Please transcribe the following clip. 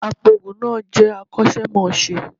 Apoògùn náà jẹ akọ́ṣẹ́mọṣẹ́